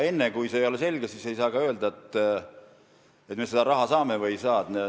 Enne, kui see ei ole selge, ei saa öelda, et me selle raha saame või ei saa.